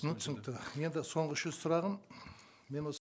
ну түсінікті енді соңғы үшінші сұрағым мен осы